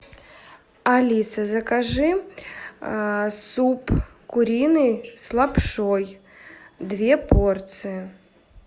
алиса закажи суп куриный с лапшой две порции